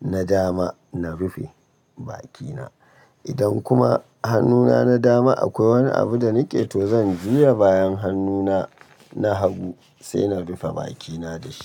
na dama na rufe bakina. Idan kuma hannuna na dama akwai wani abu da nake to, zan juya bayan hannuna na hagu sai na rufe bakina da shi.